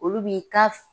Olu b'i ka